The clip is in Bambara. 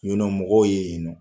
mɔgɔw ye yen nɔ.